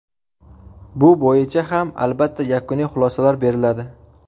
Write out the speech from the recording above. Bu bo‘yicha ham, albatta, yakuniy xulosalar beriladi.